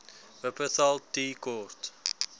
wupperthal tea court